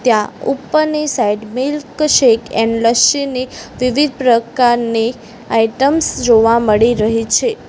ત્યાં ઉપરની side milkshake and lassi ની વિવિધ પ્રકારની આઈટમ્સ જોવા મળી રહી છે.